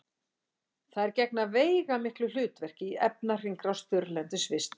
þær gegna þannig veigamiklu hlutverki í efnahringrás þurrlendis vistkerfa